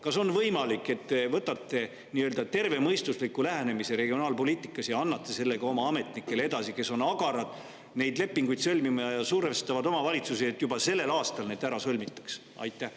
Kas on võimalik, et te võtate regionaalpoliitikas aluseks tervemõistusliku lähenemise ja annate selle edasi ka oma ametnikele, kes on agarad neid lepinguid sõlmima ja survestavad omavalitsusi, et need juba sellel aastal ära sõlmitaks?